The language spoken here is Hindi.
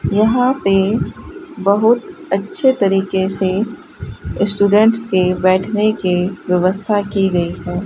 यहां पे बहुत अच्छे तरीके से स्टूडेंट्स के बैठने के व्यवस्था की गई है।